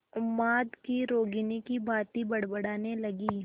उन्माद की रोगिणी की भांति बड़बड़ाने लगी